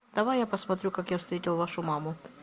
давай я посмотрю как я встретил вашу маму